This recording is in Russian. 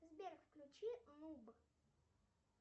сбер включи нуб